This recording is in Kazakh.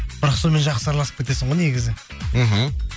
бірақ сонымен жақсы араласып кетесің ғой негізі мхм